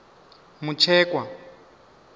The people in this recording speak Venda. mutshekwa